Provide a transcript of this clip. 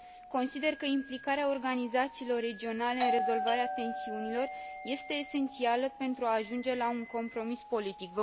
Consider că implicarea organizațiilor regionale în rezolvarea tensiunilor este esențială pentru a ajunge la un compromis politic.